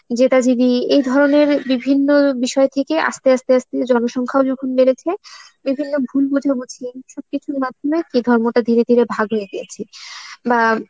, এই ধরনে বিভিন্ন বিষয় থেকে আস্তে আস্তে আস্তে জনসংখ্যা ও যখন বেড়েছে, বিভিন্ন ভুল বোঝাবুঝি সবকিছুর মাধ্যমে কি ধর্মটা ধীরে ধীরে ভাগ হয়ে গিয়েছে, বা